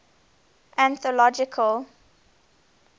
anthological